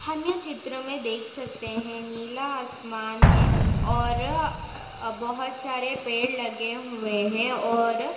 हम ये चित्र मे देख सकते है नीला आसमान है और बहुत सारे पेड़ लगे हुए है और--